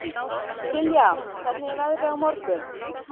Silja, hvernig er veðrið á morgun?